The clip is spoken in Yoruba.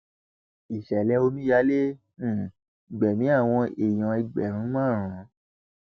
ìṣẹlẹ omíyalé um gbẹmí àwọn èèyàn ẹgbẹrún márùn